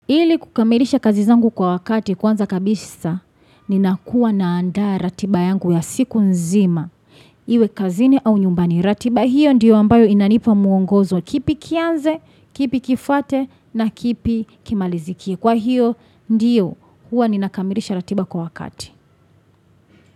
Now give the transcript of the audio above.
Ili kukamilisha kazi zangu kwa wakati kwanza kabisa, ninakuwa naandaa ratiba yangu ya siku nzima. Iwe kazini au nyumbani ratiba, hiyo ndiyo ambayo inanipa muongozo kipi kianze, kipi kifuate na kipi kimalizikie. Kwa hiyo ndiyo, huwa ninakamilisha ratiba kwa wakati.